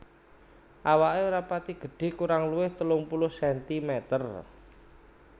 Awaké ora pati gedhé kurang luwih telung puluh sentimeter